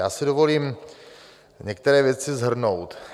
Já si dovolím některé věci shrnout.